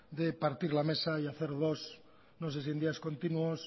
de partir la mesa y hacer dos no sé si en días continuos